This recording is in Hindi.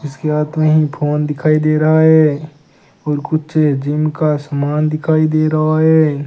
इसके हाथ मे ही फोन दिखाई दे रहा है और कुछ जिम का समान दिखाई दे रहा है।